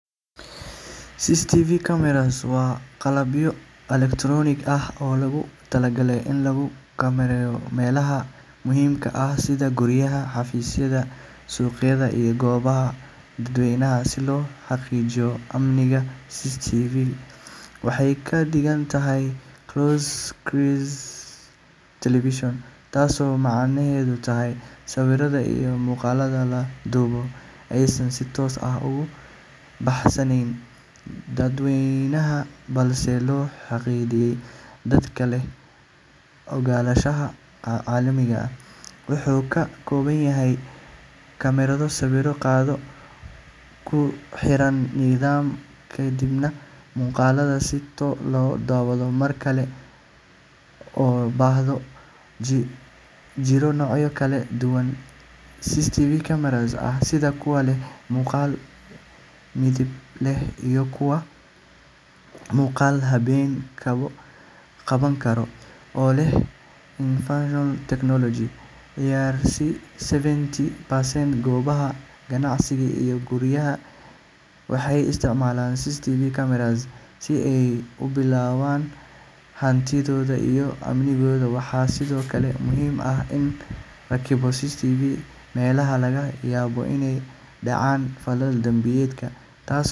CCTV cameras waa qalabyo elektaroonig ah oo loogu talagalay in lagu kormeero meelaha muhiimka ah sida guryaha, xafiisyada, suuqyada, iyo goobaha dadweynaha si loo xaqiijiyo amniga. CCTV waxay ka dhigan tahay Closed-Circuit Television, taasoo macnaheedu yahay in sawirrada iyo muuqaallada la duubo aysan si toos ah ugu baahsanayn dadweynaha, balse loo xaddiday dadka leh ogolaanshaha. Qalabkani wuxuu ka kooban yahay kamarado sawir qaada oo ku xiran nidaam kaydinaya muuqaallada si loo daawado mar kale marka loo baahdo. Waxaa jira noocyo kala duwan oo CCTV cameras ah sida kuwa leh muuqaal midab leh iyo kuwa muuqaalka habeenka qaban kara oo leh infrared technology. Qiyaastii seventy percent goobaha ganacsiga iyo guryaha waxay isticmaalaan CCTV cameras si ay u ilaaliyaan hantidooda iyo amnigooda. Waxaa sidoo kale muhiim ah in la rakibo CCTV meelaha laga yaabo inay dhacaan falal dambiyeed, taasoo.